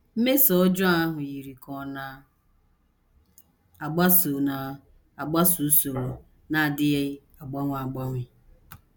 Mmeso ọjọọ ahụ yiri ka ọ na - agbaso na - agbaso usoro na - adịghị agbanwe agbanwe.